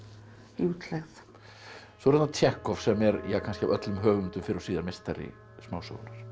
í útlegð svo er það Tsjekhov sem er kannski af öllum höfundum fyrr og síðar meistari smásögunnar